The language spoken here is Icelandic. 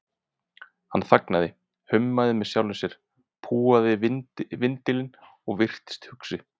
Hann þagnaði, hummaði með sjálfum sér, púaði vindilinn og virtist hugsi.